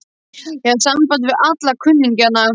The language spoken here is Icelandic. Ég hafði samband við alla kunningjana.